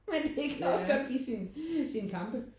Men det kan også godt give sine sine kampe